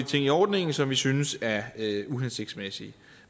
ting i ordningen som vi synes er uhensigtsmæssige